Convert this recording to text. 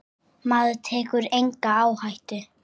Maður tekur enga áhættu!